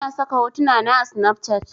Ina saka hotuna na a snafcat